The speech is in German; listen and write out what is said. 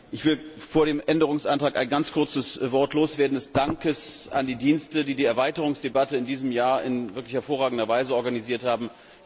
Ich möchte vor dem Änderungsantrag ein ganz kurzes Wort des Dankes an die Dienste loswerden, die die Erweiterungsdebatte in diesem Jahr in wirklich hervorragender Weise organisiert haben.